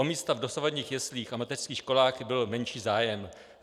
O místa v dosavadních jeslích a mateřských školách byl menší zájem.